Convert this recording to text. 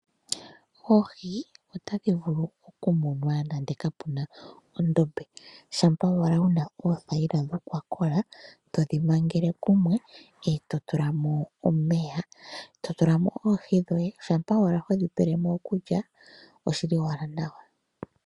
Oohi otadhi vulu okumunwa nande ka pu na ondombe. Shampa owala wu na oothayila dha kola , todhi mangele kumwe e to tula mo omeya. To tula mo oohi dhoye, shampa owala hodhi pele mo okulya oshi li owala nawa.